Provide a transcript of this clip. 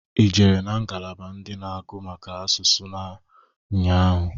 I jere na ngalaba ndị na-agụ maka asụsụ nnya ahụ?